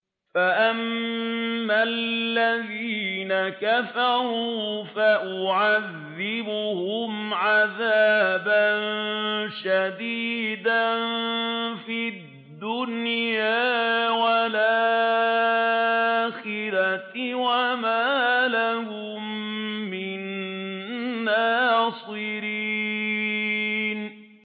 فَأَمَّا الَّذِينَ كَفَرُوا فَأُعَذِّبُهُمْ عَذَابًا شَدِيدًا فِي الدُّنْيَا وَالْآخِرَةِ وَمَا لَهُم مِّن نَّاصِرِينَ